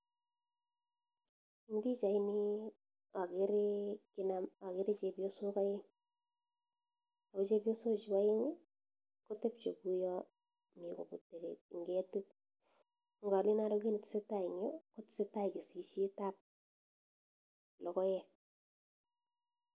Eng pichait nii akeree chepyosok aeng ako chepyosok chuu aeng kotepche kuyaa mitee kopute kii ingetit ngalen aroo kiit nee tesetaii eng yuu kotesetaii kesisiet ab lokoek